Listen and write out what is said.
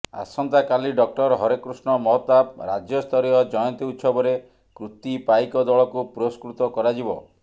ଆସନ୍ତା କାଲି ଡ଼ ହରେକୃଷ୍ଣ ମହତାବ ରାଜ୍ୟସ୍ତରୀୟ ଜୟନ୍ତୀ ଉତ୍ସବରେ କୃତି ପାଇକ ଦଳକୁ ପୁରସ୍କୃତ କରାଯିବ